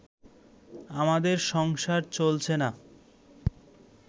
আমাদের সংসার চলছে না